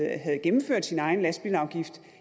havde gennemført sin egen lastbilafgift